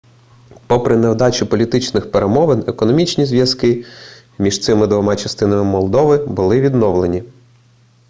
попри невдачу політичних перемовин економічні зв'язки між цими двома частинами молдови були відновлені